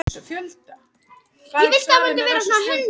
Kjörin forseti Evrópsku jarðskjálftanefndarinnar